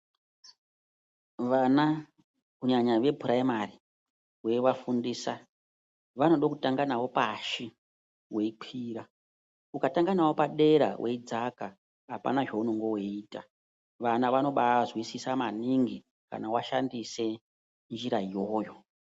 Vana kunyanya vepuraimari weivafundisa, vanode kutanga navo pashi weikwira. Ukatanga navo padera weidzaka ,apana zveunonga weiita. Vana vanobaazwisisa maningi kana washandise njira iyoyo .